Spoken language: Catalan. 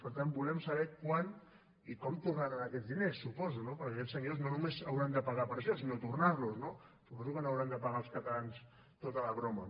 per tant volem saber quan i com tornaran aquests diners suposo no perquè aquests senyors no només hauran de pagar per això sinó tornar los no suposo que no haurem de pagar els catalans tota la broma